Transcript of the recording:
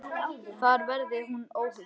Þar verði hún óhult.